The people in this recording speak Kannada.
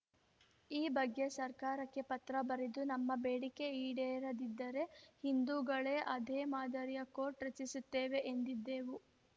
ಈ ಬಗ್ಗೆ ಸರ್ಕಾರಕ್ಕೆ ಪತ್ರ ಬರೆದು ನಮ್ಮ ಬೇಡಿಕೆ ಈಡೇರದಿದ್ದರೆ ಹಿಂದೂಗಳೂ ಅದೇ ಮಾದರಿಯ ಕೋರ್ಟ್‌ ರಚಿಸುತ್ತೇವೆ ಎಂದಿದ್ದೆವು